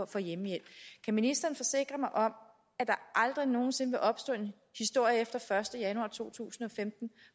for hjemmehjælp kan ministeren forsikre mig om at der aldrig nogen sinde vil opstå en historie efter den første januar to tusind og femten